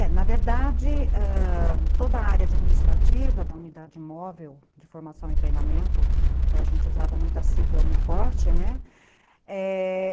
É, na verdade, ãh, toda a área administrativa da unidade móvel de formação e treinamento, que a gente usava muita sigla Uniforte, né? é...